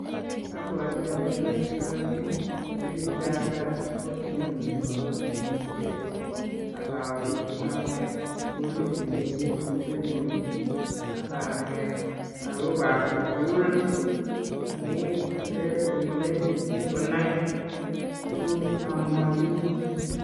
Abwoti ayoe boisioni nekinkatar kosinyu nepo kanetishet akowe ibanet sukulit nekimi kokwenyu ak anet lagokap sukul amu kyokere komoche mising konai tuguk cheamwochini.